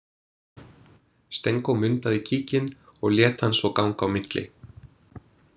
Stenko mundaði kíkinn og lét hann svo ganga á milli.